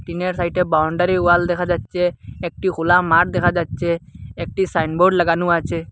টিনের সাইটে boundary wall দেখা যাচ্চে একটি খোলা মাঠ দেখা যাচ্চে একটি সাইনবোর্ড লাগানো আছে।